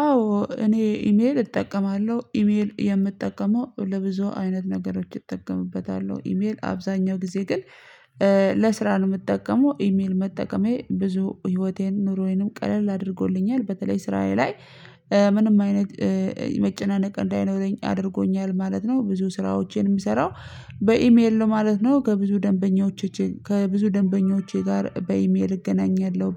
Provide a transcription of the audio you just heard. አዎ እኔ ኢሜል እጠቀማለሁ ኢሜል የምጠቀመው ለብዙ አይነት ነገሮች እጠቀምበታለሁ ኢሜል አብዛኛው ጊዜ ግን ለስራ ነው የምጠቀመው ኢሜል መጠቀሜ ብዙ ህይወቴን ኑሮዬንም ቀለል አድርጎልኛል በተለይ ስራዬ ላይ ምንም አይነት መጨናነቅ እንዳይኖረኝ አድርጎኛል ማለት ነው። ብዙ ስራዎቼን የምሰራው በኢሜል ነው ማለት ነው። ከብዙ ደንበኞች ከብዙ ደንበኞች ጋር በኢሜል እገናኛለሁ።